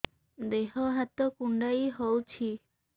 ଦେହ ହାତ କୁଣ୍ଡାଇ ହଉଛି